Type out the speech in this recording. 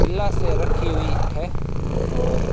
गिलासें रखी हुई है और